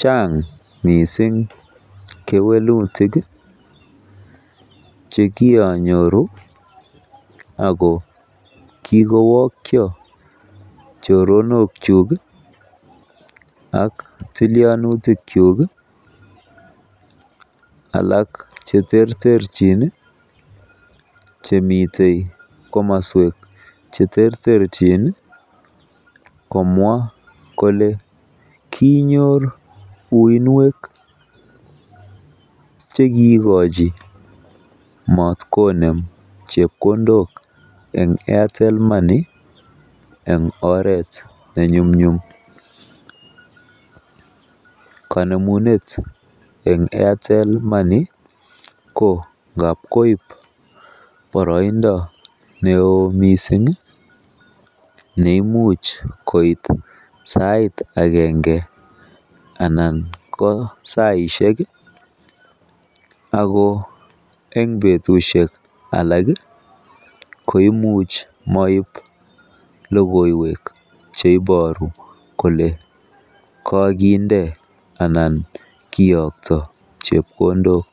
Chang mising kewelutik che kianyoru ago kigowokyo choronkyuk ak tilyanutikyuk alak che terterchin chemitei komoswek che terterchin komwa kole kinyor uiynwek che kiigochi matkonem chepkondok en Airtel Moey en oret nenyumnyum. Konemunet en Airtel Money ko ngab koib boroindo neo mising neimuch koit sait agenge anan ko saishek ago en betushek alak koimuch moib logoiywek che iboru kole koginde anan kiyokto chepkondok,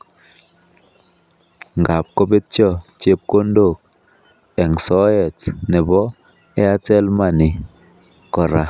ngab kobetyo chepkondok en soet nebo Airtel Money kora.